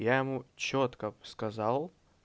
я ему чётко сказал